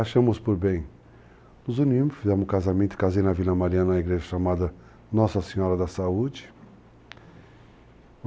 Achamos por bem, nos unimos, fizemos um casamento, casei na Vila Mariana, na igreja chamada Nossa Senhora da Saúde.